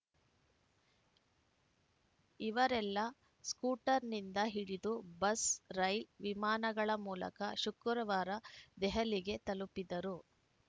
ಇವರೆಲ್ಲ ಸ್ಕೂಟರ್‌ನಿಂದ ಹಿಡಿದು ಬಸ್‌ ರೈಲ್ ವಿಮಾನಗಳ ಮೂಲಕ ಶುಕ್ರವಾರ ದೆಹಲಿಗೆ ತಲುಪಿದರು